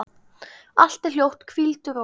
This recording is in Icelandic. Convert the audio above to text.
Allt er hljótt, hvíldu rótt.